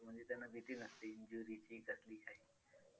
म्हणजे त्यांना भीती नसते injury ची कसली काही